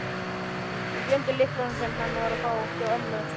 Ég gleymdi lyklunum, sem hann á að fá, hjá ömmu.